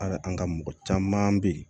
An ka an ka mɔgɔ caman be yen